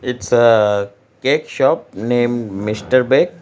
Its a cake shop named mr bake.